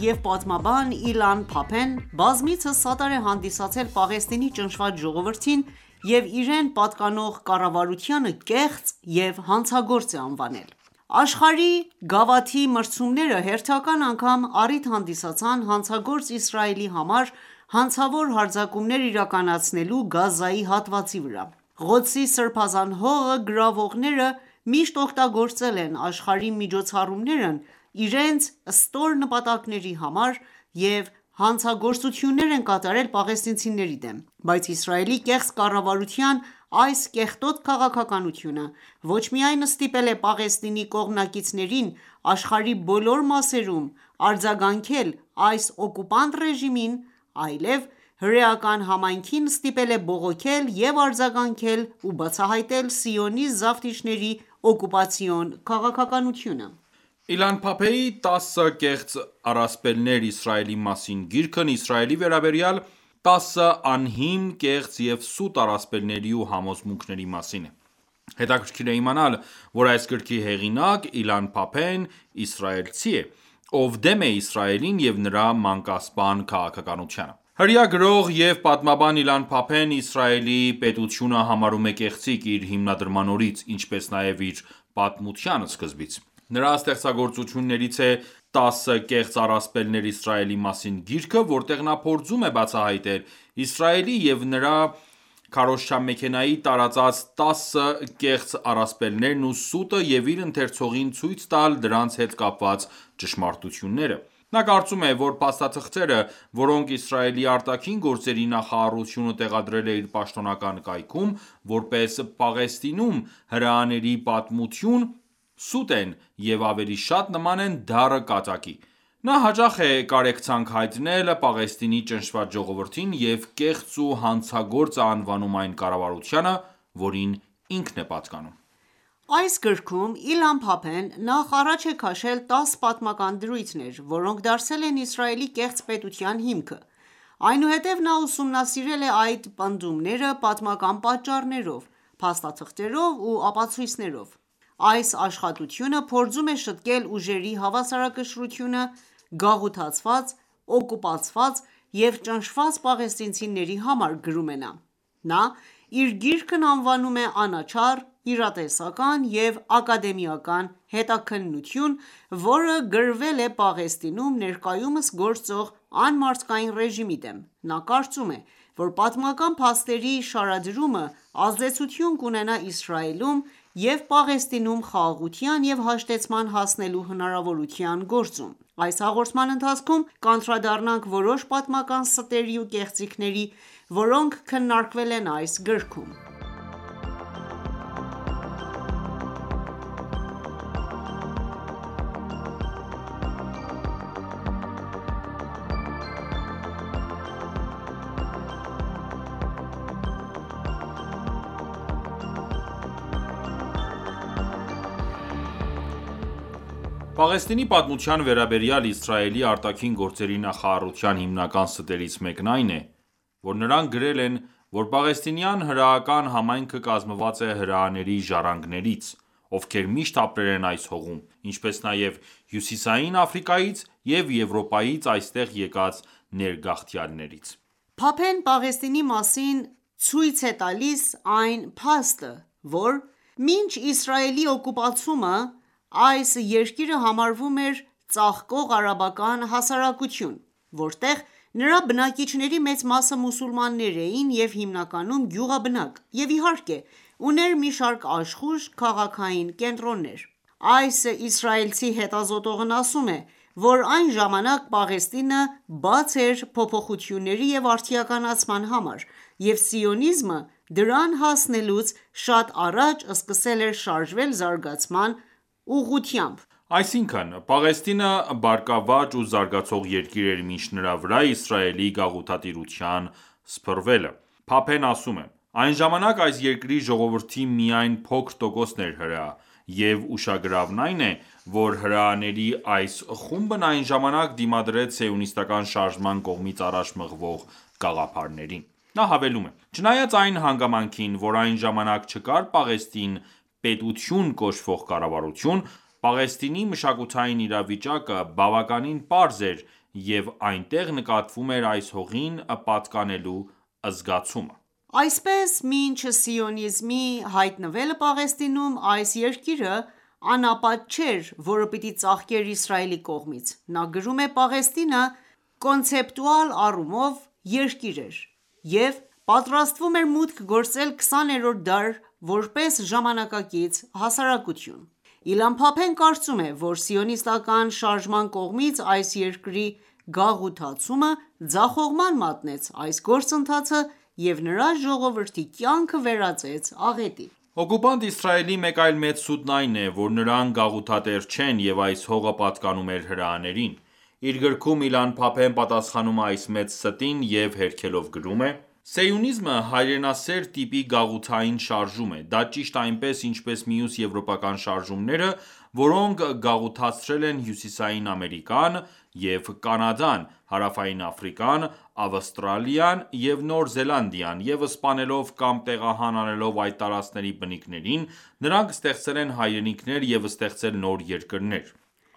և պատմաբան Իլան Փափեն բազմիցս սատար է հանդիսացել Պաղեստինի ճնշված ժողովրդին և իրեն պատկանող կառավարությանը կեղծ և հանցագործ է անվանել։ Աշխարհի գավաթի մրցումները հերթական անգամ առիթ հանդիսացան հանցագործ Իսրայելի համար՝ հանցավոր հարձակումներ իրականացնելու Գազայի հատվածի վրա: Ղոդսի սրբազան հողը գրավողները միշտ օգտագործել են աշխարհի միջոցառումներն իրենց ստոր նպատակների համար և հանցագործություններ են կատարել պաղեստինցիների դեմ: Բայց Իսրայելի կեղծ կառավարության այս կեղտոտ քաղաքականությունը ոչ միայն ստիպել է Պաղեստինի կողմնակիցներին աշխարհի բոլոր մասերում արձագանքել այս օկուպանտ ռեժիմին, այլև հրեական համայնքին ստիպել է բողոքել և արձագանքել ու բացահայտել սիոնիստ զավթիչների ​​օկուպացիոն քաղաքականությունը: 10 կեղծ առասպելներ Իսրայելի մասին Իլան Փափեի «10 կեղծ առասպելներ Իսրայելի մասին» գիրքն Իսրայելի վերաբերյալ 10 անհիմն, կեղծ և սուտ առասպելների ու համոզմունքների մասին է։ Հետաքրքիր է իմանալ, որ այս գրքի հեղինակ Իլան Փափեն իսրայելցի է, ով դեմ է Իսրայելին և նրա մանկասպան քաղաքականությանը: Հրեա գրող ու պատմաբան Իլան Փափեն Իսրայելի պետությունը համարում է կեղծիք՝ իր հիմնադրման օրից, ինչպես նաև իր պատմության սկզբից։ Նրա ստեղծագործություններից է «10 կեղծ առասպելներ Իսրայելի մասին» գիրքը, որտեղ նա փորձում է բացահայտել Իսրայելի և նրա քարոզչամեքենայի տարածած 10 կեղծ առասպելներն ու սուտը և իր ընթերցողին ցույց տալ դրանց հետ կապված ճշմարտությունները։ Նա կարծում է, որ փաստաթղթերը, որոնք Իսրայելի արտաքին գործերի նախարարությունը տեղադրել է իր պաշտոնական կայքում՝ որպես Պաղեստինում հրեաների պատմություն, սուտ են և ավելի շատ նման են դառը կատակի։ Նա հաճախ է կարեկցանք հայտնել Պաղեստինի ճնշված ժողովրդին և կեղծ ու հանցագործ է անվանում այն ​​կառավարությանը, որին ինքն է պատկանում։ Այս գրքում Իլան Փափեն նախ առաջ է քաշել 10 պատմական դրույթներ, որոնք դարձել են Իսրայելի կեղծ պետության հիմքը, այնուհետև նա ուսումնասիրել է այդ պնդումները պատմական պատճառներով, փաստաթղթերով ու ապացույցներով: «Այս աշխատությունը փորձում է շտկել ուժերի հավասարակշռությունը գաղութացված, օկուպացված և ճնշված պաղեստինցիների համար»,- գրում է նա։ Նա իր գիրքն անվանում է անաչառ, իրատեսական և ակադեմիական հետաքննություն, որը գրվել է Պաղեստինում ներկայումս գործող անմարդկային ռեժիմի դեմ: Նա կարծում է, որ պատմական փաստերի շարադրումը ազդեցություն կունենա Իսրայելում և Պաղեստինում խաղաղության և հաշտեցման հասնելու հնարավորության գործում։ Այս հաղորդման ընթացքում կանդրադառնանք որոշ պատմական ստերի ու կեղծիքների, որոնք քննարկվել են այս գրքում: Պաղեստինի պատմության վերաբերյալ Իսրայելի ԱԳՆ-ի հիմնական ստերից մեկն այն է, որ նրանք գրել են, որ պաղեստինյան հրեական համայնքը կազմված է հրեաների ժառանգներից, ովքեր միշտ ապրել են այս հողում, ինչպես նաև Հյուսիսային Աֆրիկայից և Եվրոպայից այստեղ եկած ներգաղթյալներից: Փափեն Պաղեստինի մասին ցույց է տալիս այն փաստը, որ մինչ Իսրայելի օկուպացումը այս երկիրը համարվում էր ծաղկող արաբական հասարակություն, որտեղ նրա բնակիչների մեծ մասը մուսուլմաններ էին և հիմնականում գյուղաբնակ, և, իհարկե, ուներ մի շարք աշխույժ քաղաքային կենտրոններ: Այս իսրայելցի հետազոտողն ասում է, որ այն ժամանակ Պաղեստինը բաց էր փոփոխությունների ու արդիականացման համար, և սիոնիզմը դրան հասնելուց շատ առաջ սկսել էր շարժվել զարգացման ուղղությամբ։ Այսինքն՝ Պաղեստինը բարգավաճ ու զարգացող երկիր էր մինչ նրա վրա Իսրայելի գաղութատիրության սփռվելը։ Փափեն ասում է. «Այն ժամանակ այս երկրի ժողովրդի միայն փոքր տոկոսն էր հրեա, և ուշագրավն այն է, որ հրեաների այս խումբն այն ժամանակ դիմադրեց սիոնիստական ​​շարժման կողմից առաջ մղվող գաղափարներին»: Նա հավելում է. «Չնայած այն հանգամանքին, որ այն ժամանակ չկար Պաղեստին պետություն կոչվող կառավարություն, Պաղեստինի մշակութային իրավիճակը բավականին պարզ էր, և այնտեղ նկատվում էր այս հողին պատկանելու զգացումը։ Այսպես, մինչ սիոնիզմի հայտնվելը Պաղեստինում, այս երկիրը անապատ չէր որը պիտի ծաղկեր Իսրայելի կողմից: Նա գրում է. «Պաղեստինը կոնցեպտուալ առումով երկիր էր և պատրաստվում էր մուտք գործել 20-րդ դար որպես ժամանակակից հասարակություն»: Իլան Փափեն կարծում է, որ սիոնիստական ​​շարժման կողմից այս երկրի գաղութացումը ձախողման մատնեց այս գործընթացը և նրա ժողովրդի կյանքը վերածեց աղետի: Սիոնիստական ​​ռեժիմի կողմից պաղեստինյան հողերի օկուպացիայի գործընթացը կուպանտ Իսրայելի մեկ այլ մեծ սուտն այն է, որ նրանք գաղութատեր չեն և այս հողը պատկանում էր հրեաներին։ Իր գրքում Իլան Փափեն պատասխանում է այս մեծ ստին և հերքելով գրում է. «Սիոնիզմը հայրենասեր տիպի գաղութային շարժում է: Դա ճիշտ այնպես, ինչպես մյուս եվրոպական շարժումները, որոնք գաղութացրել են Հյուսիսային Ամերիկան ​​(ԱՄՆ և Կանադա), Հարավային Աֆրիկան, Ավստրալիան և Նոր Զելանդիան, և սպանելով կամ տեղահան անելով այդ տարածքների բնիկներին՝ նրանք ստեղծել են հայրենիքներ և ստեղծել նոր երկրներ»: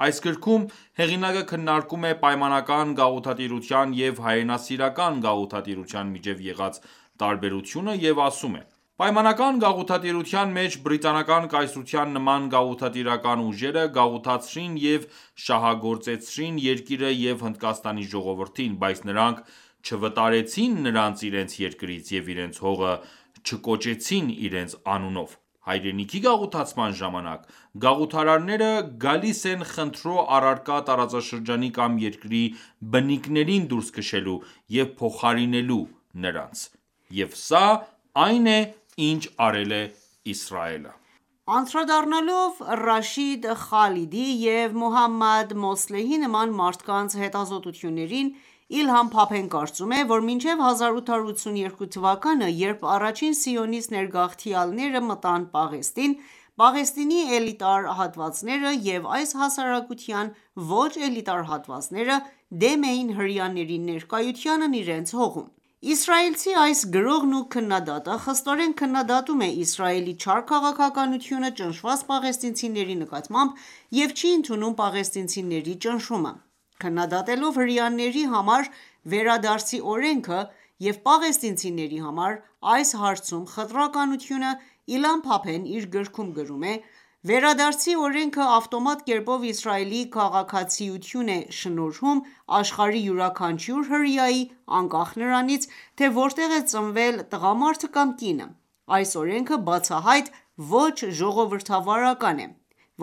Այս գրքում, հեղինակը քննարկում է պայմանական գաղութատիրության և հայրենասիրական գաղութատիրության միջև եղած տարբերությունը և ասում է. «Պայմանական գաղութատիրության մեջ Բրիտանական կայսրության նման գաղութատիրական ուժերը գաղութացրին և շահագործեցին երկիրը և Հնդկաստանի ժողովրդին, բայց նրանք չվտարեցին նրանց իրենց երկրից և իրենց հողը չկոչեցին իրենց անունով: Հայրենիքի գաղութացման ժամանակ գաղութարարները գալիս են խնդրո առարկա տարածաշրջանի կամ երկրի բնիկներին դուրս քշելու և փոխարինելու նրանց»։ Եվ սա այն է, ինչ արել է Իսրայելը: Անդրադառնալով Ռաշիդ Խալիդիի և Մոհամմադ Մոսլեհի նման մարդկանց հետազոտություններին՝ Իլան Փափեն կարծում է, որ մինչև 1882 թվականը, երբ առաջին սիոնիստ ներգաղթյալները մտան Պաղեստին, Պաղեստինի էլիտար հատվածները և այս հասարակության ոչ էլիտար հատվածները դեմ էին հրեաների ներկայությանն իրենց հողում։ Հայրենիքի գաղութացում Իսրայելցի այս գրողն ու քննադատը խստորեն քննադատում է Իսրայելի չար քաղաքականությունը ճնշված պաղեստինցիների նկատմամբ և չի ընդունում պաղեստինցիների ճնշումը։ Քննադատելով հրեաների համար «Վերադարձի օրենքը» և պաղեստինցիների համար այս հարցում խտրականությունը՝ Իլան Փափեն իր գրքում գրում է. «Վերադարձի օրենքը ավտոմատ կերպով Իսրայելի քաղաքացիություն է շնորհում աշխարհի յուրաքանչյուր հրեայի՝ անկախ նրանից, թե որտեղ է ծնվել տղամարդը կամ կինը: Այս օրենքը բացահայտ ոչ ժողովրդավարական է։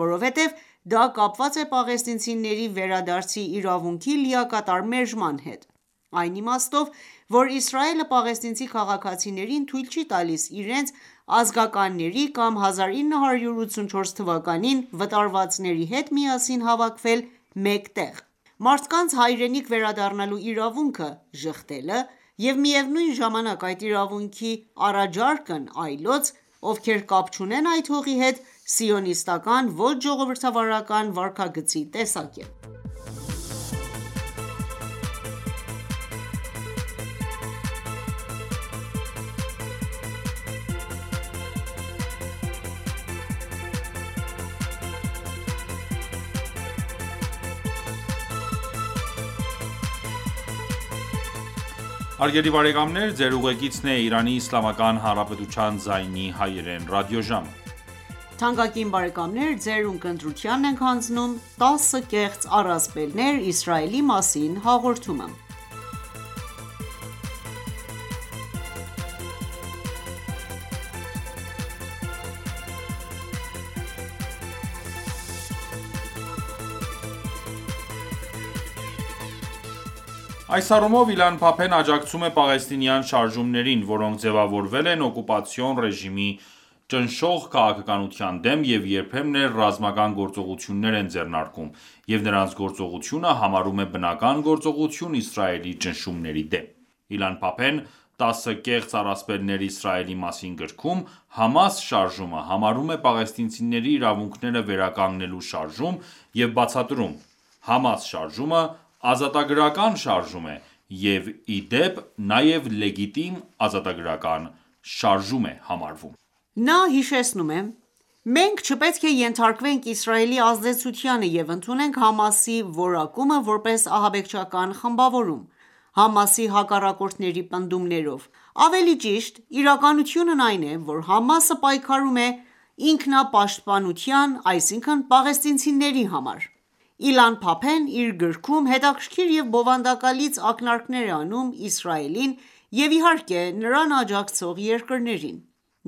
Որովհետև դա կապված է պաղեստինցիների վերադարձի իրավունքի լիակատար մերժման հետ: Այն իմաստով, որ Իսրայելը պաղեստինցի քաղաքացիներին թույլ չի տալիս իրենց ր ազգականների կամ 1984 թվականին վտարվածների հետ միասին հավաքվել մեկ տեղ։ Մարդկանց հայրենիք վերադառնալու իրավունքը ժխտելը և միևնույն ժամանակ այդ իրավունքի առաջարկն այլոց, ովքեր կապ չունեն այս հողի հետ, սիոնիստական ​​ոչ ժողովրդավարական վարքագծի տեսակ է»: Այս առումով Իլան Փափեն աջակցում է պաղեստինյան շարժումներին, որոնք ձևավորվել են օկուպացիոն ռեժիմի ճնշող քաղաքականության դեմ և երբեմն էլ ռազմական գործողություններ են ձեռնարկում, և նրանց գործողությունը համարում է բնական գործողություն Իսրայելի ճնշումների դեմ։ Իլան Փափեն «10 կեղծ առասպելներ Իսրայելի մասին» գրքում «ՀԱՄԱՍ» շարժումը համարում է պաղեստինցիների իրավունքները վերականգնելու շարժում և բացատրում. «ՀԱՄԱՍ շարժումը... ազատագրական շարժում է, և ի դեպ, նաև լեգիտիմ ազատագրական շարժում է»։ Նա հիշեցնում է. «Մենք չպետք է ենթարկվենք Իսրայելի ազդեցությանը և ընդունենք ՀԱՄԱՍ-ի որակումը որպես ահաբեկչական խմբավորում, ՀԱՄԱՍ-ի հակառակորդների պնդումներով։ Ավելի ճիշտ իրականությունն այն է, որ ՀԱՄԱՍ-ը պայքարում է «ինքնապաշտպանության, այսինքն՝ պաղեստինցիների» համար։ Իլան Փափեն իր գրքում հետաքրքիր և բովանդակալից ակնարկներ է անում Իսրայելին և, իհարկե, նրան աջակցող երկրներին։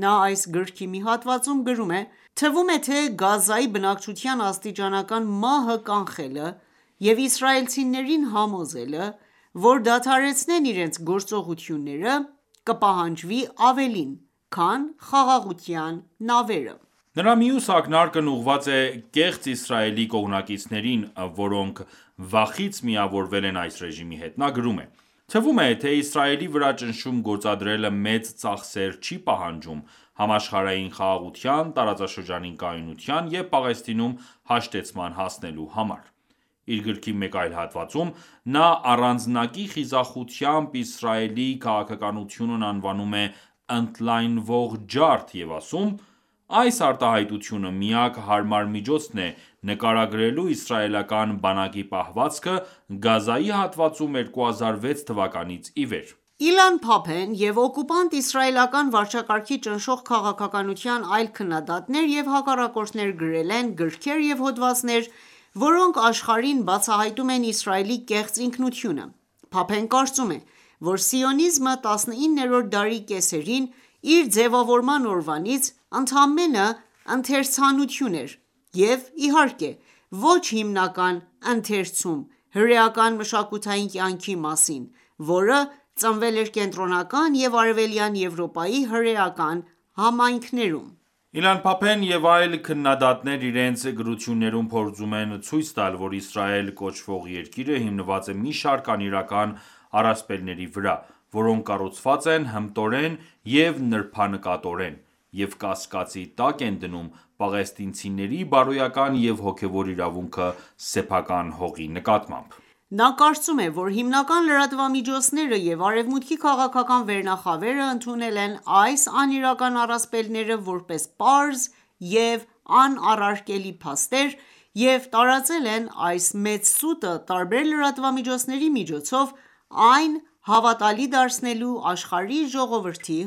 Նա այս գրքի մի հատվածում գրում է. «Թվում է, թե Գազայի բնակչության աստիճանական մահը կանխելը և իսրայելցիներին համոզելը, որ դադարեցնեն իրենց գործողությունները, կպահանջվի ավելին, քան «խաղաղության նավերը»։ Նրա մյուս ակնարկն ուղղված է կեղծ Իսրայելի կողմնակիցներին, որոնք վախից միավորվել են այս ռեժիմի հետ։ Նա գրում է. «Թվում է, թե Իսրայելի վրա ճնշում գործադրելը մեծ ծախսեր չի պահանջում՝ համաշխարհային խաղաղության, տարածաշրջանային կայունության և Պաղեստինում հաշտեցման հասնելու համար»: Իր գրքի մեկ այլ հատվածում նա առանձնակի խիզախությամբ Իսրայելի քաղաքականությունն անվանում է «ընդլայնվող ջարդ» և ասում. «Այս արտահայտությունը միակ հարմար միջոցն է նկարագրելու իսրայելական բանակի պահվածքը Գազայի հատվածում 2006 թվականից ի վեր»։ Գազայի հատվածում Սիոնիստական ​​ռեժիմի հանցագործությունները Իլան Փափեն և օկուպանտ իսրայելական վարչակարգի ճնշող քաղաքականության այլ քննադատներ և հակառակորդներ գրել են գրքեր և հոդվածներ, որոնք աշխարհին բացահայտում են Իսրայելի կեղծ ինքնությունը: Փափեն կարծում է, որ «սիոնիզմը, 19-րդ դարի կեսերին իր ձևավորման օրվանից, ընդամենը ընթերցանություն էր, և, իհարկե, ոչ հիմնական ընթերցում հրեական մշակութային կյանքի մասին, որը ծնվել է Կենտրոնական և Արևելյան Եվրոպայի հրեական համայնքներում»: Իլան Փափեն և այլ քննադատներ իրենց գրություններում փորձում են ցույց տալ, որ Իսրայել կոչվող երկիրը հիմնված է մի շարք անիրական առասպելների վրա, որոնք կառուցված են հմտորեն և նրբանկատորեն և կասկածի տակ են դնում պաղեստինցիների բարոյական և հոգևոր իրավունքը սեփական հողի նկատմամբ: Նա կարծում է, որ հիմնական լրատվամիջոցները և Արևմուտքի քաղաքական վերնախավերը ընդունել են այս անիրական առասպելները որպես պարզ և անառարկելի փաստեր և տարածել են այս մեծ սուտը տարբեր լրատվամիջոցների միջոցով՝ այն հավատալի դարձնելու աշխարհի ժողովրդի